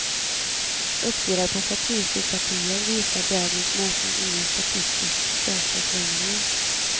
Uppdelad på partisympatier visar dagens mätning inga statistiskt säkra förändringar.